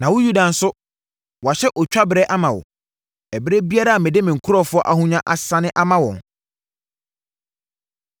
“Na wo Yuda nso, wɔahyɛ otwa berɛ ama wo. “Ɛberɛ biara a mede me nkurɔfoɔ ahonya asane ama wɔn,